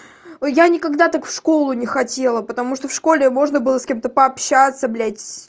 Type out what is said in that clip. ээ я никогда так в школу не хотела потому что в школе можно было с кем-то пообщаться блять